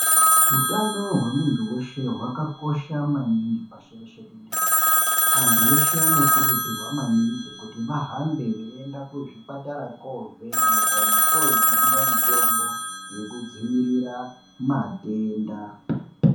Utano hwemunhu weshe zvakakosha maningi pashi reshe tenderere, anhu eshe anokurudzirwa maningi kuti vahambe veienda kuzvipatara koovhenekwa nekoojungwa mitombo yekudzivirira matenda.